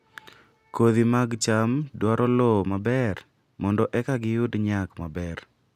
Kodhi mag cham dwaro lowo maber mondo eka giyud nyak maber